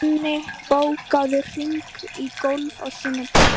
Donni, bókaðu hring í golf á sunnudaginn.